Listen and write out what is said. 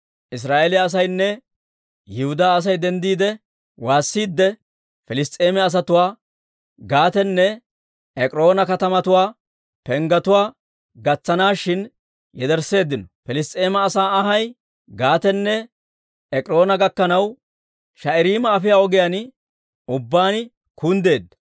Israa'eeliyaa asaynne Yihudaa Asay denddiide waasiidde, Piliss's'eema asatuwaa Gaatenne Ek'iroona katamatuwaa penggetuwaa gatsanaashin yedersseeddino; Piliss's'eema asaa anhay Gaatenne Ek'iroona gakkanaw, Shaa'irayma afiyaa ogiyaan ubbaan kunddeedda.